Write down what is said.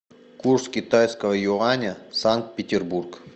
курс китайского юаня санкт петербург